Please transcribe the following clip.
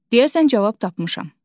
Deyəsən cavab tapmışam.